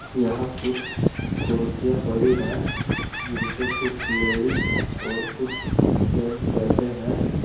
यहां कुछ कोरोसिया पड़ी हैं जिनपे कुछ लेडिस और कुछ जेंट्स बैठे हैं।